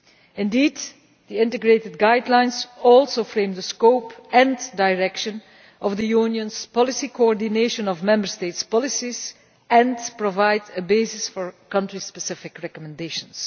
Indeed, the integrated guidelines also frame the scope and direction of the Union's policy coordination of Member States' policies and provide a basis for country specific recommendations.